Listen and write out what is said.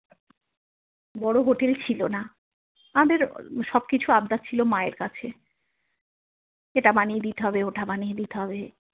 বড়ো হোটেল ছিল না আমাদের সবকিছু আবদার ছিল মায়ের কাছে এটা বানিয়ে দিতে হবে ওটা বানিয়ে দিতে হবে।